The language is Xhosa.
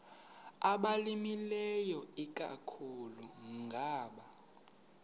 abalimileyo ikakhulu ngama